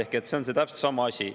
Ehk see on täpselt sama asi.